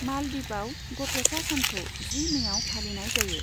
मालदीपआव, गथ'सा सानखौ जि मेआव फालिनाय जायो।